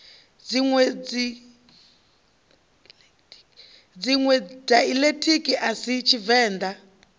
dziṋwe daiḽekithi a si tshivenḓa